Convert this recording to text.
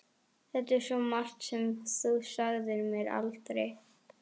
Það er svo margt sem þú sagðir mér aldrei.